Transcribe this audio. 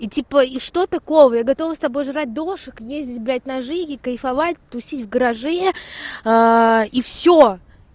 и типа и что такого я готова с тобой жрать дошик ездить блять на жиге кайфовать тусить в гараже и всё